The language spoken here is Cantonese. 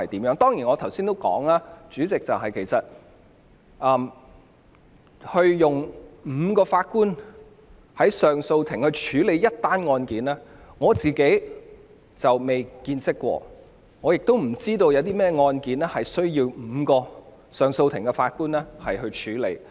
我剛才也提到，代理主席，上訴法庭由5名法官同時審理一宗案件的情況，我從未見過，亦不知道有甚麼案件須由5名上訴法庭法官處理。